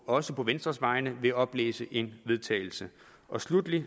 også på venstres vegne vil oplæse et forslag vedtagelse sluttelig